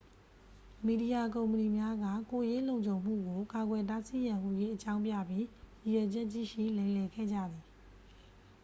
"မီဒီယာကုမ္ပဏီများက "ကိုယ်ရေးလုံခြုံမှုကို ကာကွယ်တားဆီးရန်" ဟူ၍ အကြောင်းပြပြီး ရည်ရွယ်ချက်ရှိရှိ လိမ်လည်ခဲ့ကြသည်။